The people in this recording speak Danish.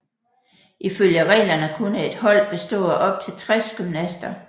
Ifølge reglerne kunne et hold bestå af op til 60 gymnaster